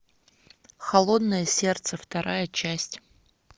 холодное сердце вторая часть